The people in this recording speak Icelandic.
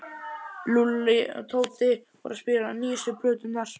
Lúlli og Tóti voru að spila nýjustu plöturnar.